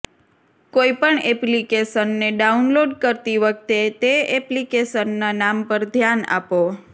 કોઈપણ એપ્લિકેશનને ડાઉનલોડ કરતી વખતે તે એપ્લિકેશનના નામ પર ધ્યાન આપો